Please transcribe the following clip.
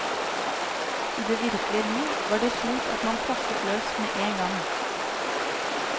I det virkelige liv var det slik at man plaffet løs med en gang.